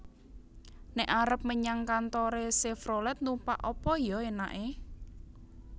Nek arep menyang kantore Chevrolet numpak apa yo enake?